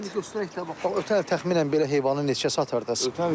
Ötən ötən təxminən belə heyvanı neçəyə satardınız?